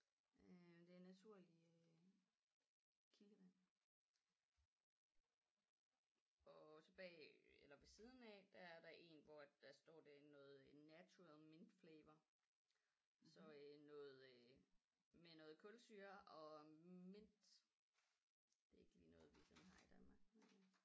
Øh det er naturlig øh kildevand og også bag eller ved siden af der er der 1 hvor at der står det er noget natural mint flavour så øh noget øh med noget kulsyre og mint det er ikke lige noget vi sådan har i Danmark